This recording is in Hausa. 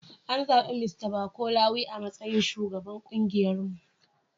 An zabi Mista Bako Lawi a matsayin shugaban kungiyarmu.